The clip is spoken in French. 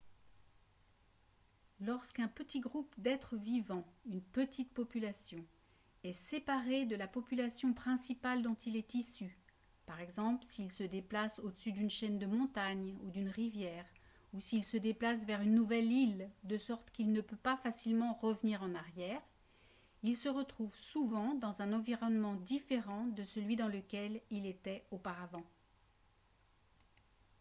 lorsqu’un petit groupe d’êtres vivants une petite population est séparé de la population principale dont il est issu par exemple s’il se déplace au-dessus d’une chaîne de montagnes ou d’une rivière ou s’il se déplace vers une nouvelle île de sorte qu’il ne peut pas facilement revenir en arrière il se retrouve souvent dans un environnement différent de celui dans lequel il était auparavant